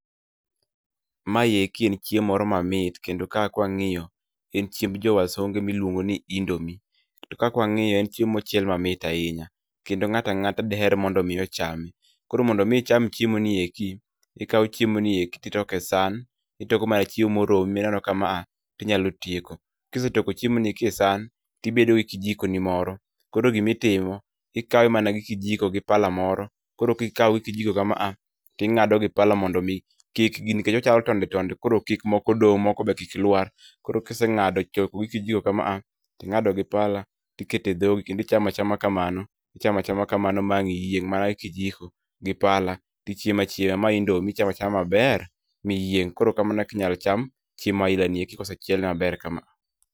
Maeki en chiemo moro mamit kendo kae ka wang'iyo en chiemb jo wasunge miluongo ni indomi. To kaka wang'iye en chiemo mamit ahinya kendo ng'ato ang'ata diher mondo mi ochame. Koro mondo mi icham chiemoni eki, ikao chiemoni eki to itoke e san, itoko mana chiemo moromi mineno ni ma to inyalo tieko. Kisetoko chiemoni e san to ibedo gi kijikoni moro, koro gima itimo ikawe mana gi kijiko gipala moro. Koro kikawe gi kijiko kama to ing'ado gi pala mondo mi kik nikech ochalo tonde tondo koro mondo mi moko kik dong' moko be kik luar koro kiseng'ado chok gi kijikomkama ting'ado gi pala tiketo edhogi kendo ichamo achama kamano , ichamo achama kamano ma ang' iyieng', mana gi kijiko gi pala to ichiemo achiema ma indomi gi pala ichiemo achiema maber miyieng' koro kamano ekaka inyalo cham chiemo aina gieki ka osechiele maber kama a.